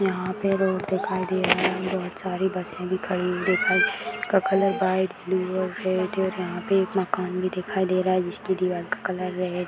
यहाँ पे रोड दिखाई दे रहा है बहुत सारी बसे दिखाई दिखाई कलर व्हाइट ब्लू और रेड और यहाँ पे एक मकान भी दिखाई दे रहा है जिसकी दीवार का कलर रेड --